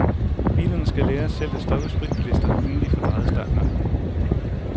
Bilerne skal lære selv at stoppe spritbilister inden de får drejet startnøglen.